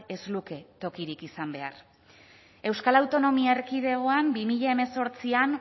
ez luke tokirik izan behar euskal autonomi erkidegoan bi mila hemezortzian